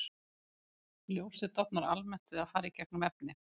Ljósið dofnar almennt við að fara í gegnum efni.